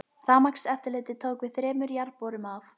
Rafmagnseftirlitið tók við þremur jarðborum af